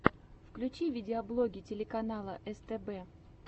включи видеоблоги телеканала стб